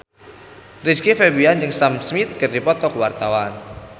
Rizky Febian jeung Sam Smith keur dipoto ku wartawan